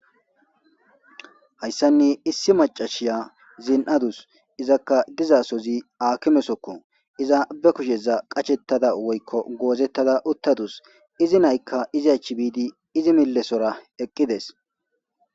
Hayssani issi maccashiya zin7adus. Izakka dizasozi aakime sooko iza be kusheza qashettada woykko goozettada uttadus. Izi nayka izi achi bidi izi mille sora eqqides.